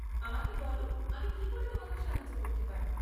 আমাকে বলো আমি কি করে তোমাকে সাহায্য করতে পারি।